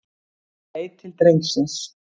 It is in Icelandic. Hann leit til drengsins.